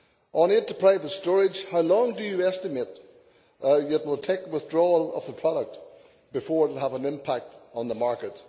On aid to private storage, how long do you estimate it will take from withdrawal of the product before it has an impact on the market?